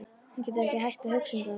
Hann getur ekki hætt að hugsa um það.